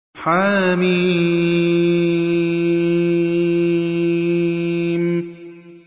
حم